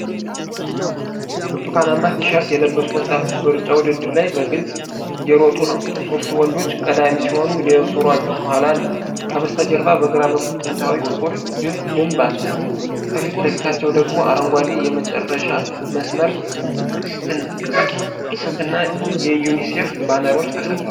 ብርቱካናማ ቲሸርት የለበሱ ወጣቶች በሩጫ ውድድር ላይ በግልጽ እየሮጡ ነው። ሦስቱ ወንዶች ቀዳሚ ሲሆኑ፣ ሌሎች ሯጮች ከኋላ አሉ። ከበስተጀርባ በግራ በኩል ጥንታዊ ጥቁር ግንብ አለ። ከፊት ለፊታቸው ደግሞ አረንጓዴ የመጨረሻ መስመር ቅስትና የዩኒሴፍ ባነሮች ተሰቅለዋል።